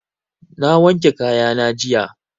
Na wanke kaya na jiya.